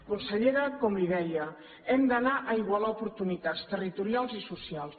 consellera com li deia hem d’anar a igualar oportunitats territorials i socials